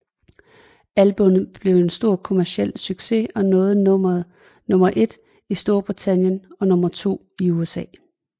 Albummet blev en stor kommerciel succes og nåede nummer et i Storbritannien og nummer to i USA